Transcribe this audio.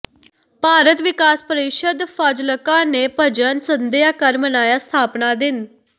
ਭਾਰਤ ਵਿਕਾਸ ਪਰਿਸ਼ਦ ਫਾਜਿਲਕਾ ਨੇ ਭਜਨ ਸੰਧਿਆ ਕਰ ਮਨਾਇਆ ਸਥਾਪਨਾ ਦਿਨ